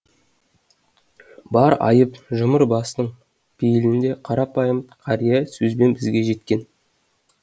бар айып жұмыр бастың пейілінде қарапайым қария сөзбен бізге жеткен